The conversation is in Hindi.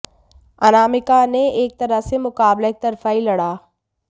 अनामिका ने एक तरह से यह मुकाबला एकतरफा ही लड़ा